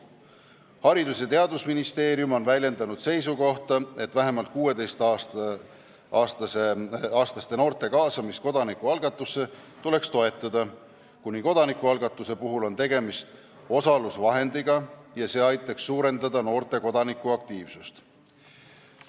Haridus- ja Teadusministeerium on väljendanud seisukohta, et vähemalt 16-aastaste noorte kaasamist kodanikualgatusse tuleks toetada, kuivõrd kodanikualgatuse puhul on tegemist osalusvahendiga ja see aitaks suurendada noorte kodanikuaktiivsust.